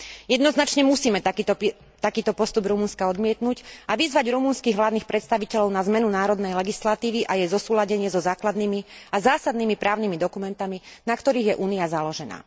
Jednoznačne musíme takýto postup Rumunska odmietnuť a vyzvať rumunských vládnych predstaviteľov na zmenu národnej legislatívy a jej zosúladenie so základnými a zásadnými právnymi dokumentmi, na ktorých je Únia založená.